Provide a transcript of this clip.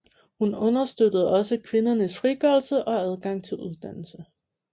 Hun understøttede også kvindernes frigørelse og adgang til uddannelse